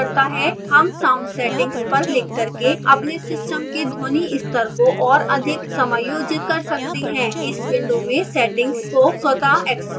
हम sound settings पर click करके अपने system के ध्वनि स्तर को और अधिक समायोजित कर सकते हैं इस विंडो में settings को स्वतः एक्स्प्लोर करें